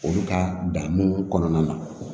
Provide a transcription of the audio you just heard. Olu ka dan nunnu kɔnɔna na